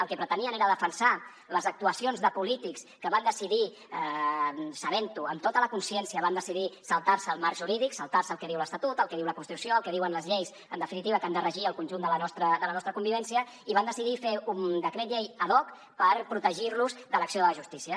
el que pretenien era defensar les actuacions de polítics que van decidir sabent ho amb tota la consciència saltar se els marcs jurídics saltar se el que diu l’estatut el que diu la constitució el que diuen les lleis en definitiva que han de regir el conjunt de la nostra convivència i van decidir fer un decret llei ad hocl’acció de la justícia